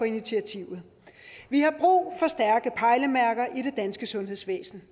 initiativet vi har brug for stærke pejlemærker i det danske sundhedsvæsen